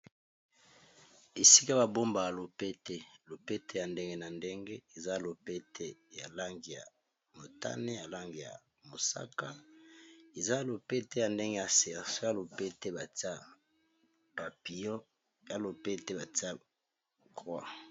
esika babomba ya lopete lopete ya ndenge na ndenge eza lopete ya lange ya motane ya lange ya mosaka eza lopete ya ndenge ya serco y lopete batia papilo ya lopete batia croi